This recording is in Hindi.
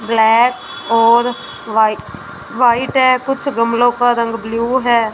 ब्लैक और वाई वाइट है कुछ गमलों का रंग ब्लू है।